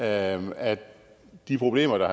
at at de problemer der